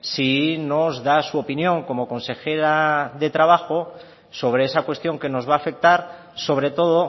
si nos da su opinión como consejera de trabajo sobre esa cuestión que nos va a afectar sobre todo